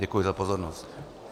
Děkuji za pozornost.